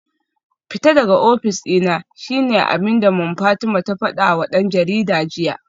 Fita daga ofis dina shine abinda Mom Fatima ta fadawa dan jarida jiya